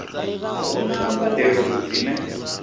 a hu na mbadelo dzine